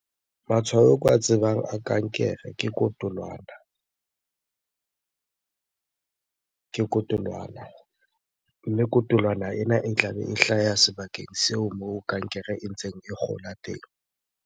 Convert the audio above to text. Matshwao ao ke wa tsebang a kankere ke kotolwana. Mme kotolwana ena e tlabe e hlaha sebakeng seo moo kankere e ntseng e kgola teng.